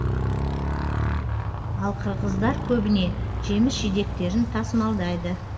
ал қырғыздар көбіне жеміс жидектерін тасымалдайды